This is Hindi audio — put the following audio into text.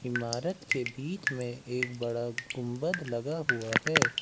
इमारत के बीच में एक बड़ा गुंबद लगा हुआ है।